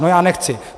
No já nechci!